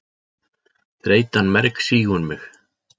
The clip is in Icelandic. Þreytan mergsýgur mig.